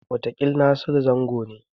Wataƙil Nasiru Zango ne.